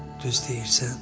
Düz deyirsən.